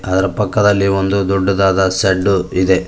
ಅದರ ಪಕ್ಕದಲ್ಲಿ ಒಂದು ದೊಡ್ಡದಾದ ಶೆಡ್ಡು ಇದೆ.